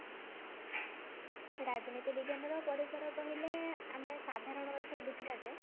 ରାଜନୀତି ବିଜ୍ଞାନ ର ପରିସର କହିଲେ ଆମେ ସାଧାରଣ ଅର୍ଥରେ ବୁଝିବା ଯେ